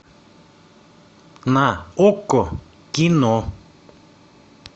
на окко кино